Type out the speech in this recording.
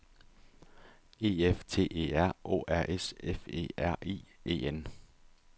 E F T E R Å R S F E R I E N